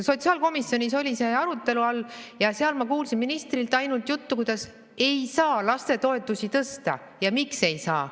Sotsiaalkomisjonis oli see arutelu all ja seal ma kuulsin ministrilt ainult juttu, kuidas ei saa lastetoetusi tõsta ja miks ei saa.